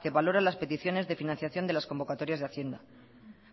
que valora las peticiones de financiación de las convocatorias de hacienda